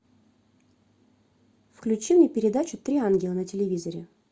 включи мне передачу три ангела на телевизоре